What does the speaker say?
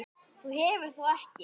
Þú hefur þó ekki.